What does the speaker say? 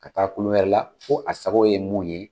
Ka taa kulu wɛrɛ la ko a sagow ye mun ye